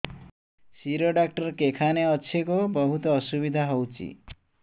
ଶିର doctor କେଖାନେ ଅଛେ ଗୋ ବହୁତ୍ ଅସୁବିଧା ହଉଚି